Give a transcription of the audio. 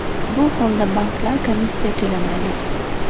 Bu holda banklar komissiya to‘lamaydi.